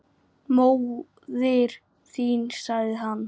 Móðir þín sagði hann.